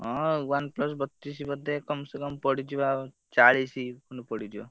ହଁ ଆଉ OnePlus ବତିଶି ବୋଧେ, କମ୍‌ସେ କମ୍‌ ପଡିଯିବ ଚାଳିଶି ଖଣ୍ଡ ପଡିଯିବ।